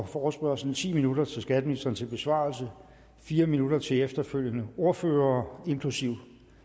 forespørgslen ti minutter til skatteministeren til besvarelse fire minutter til de efterfølgende ordførere inklusive